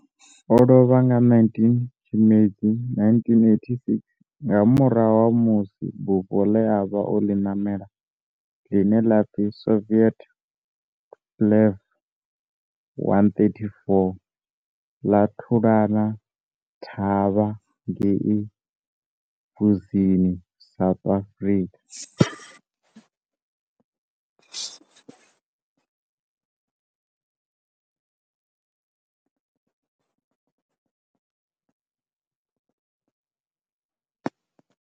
O lovha nga 19 Tshimedzi 1986 nga murahu ha musi bufho le a vha o li namela, line la pfi Soviet Tupolev 134 la thulana thavha ngei Mbuzini, South Africa.